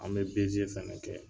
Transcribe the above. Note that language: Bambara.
An be beze fɛnɛ kɛ